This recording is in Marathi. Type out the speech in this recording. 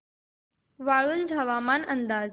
वाळूंज हवामान अंदाज